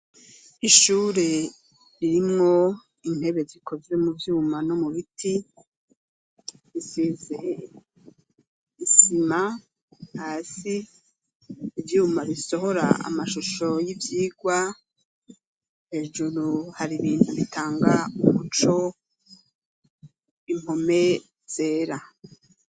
Ishure ririmwo intebe zikozwe mu vyuma no mu biti, isize isima hasi, ivyuma bisohora amashusho y'ivyigwa, hejuru hari ibintu bitanga umuco, impome zera.